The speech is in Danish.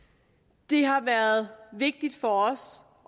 det har også været vigtigt for os